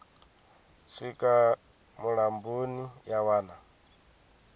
swika mulamboni ya wana na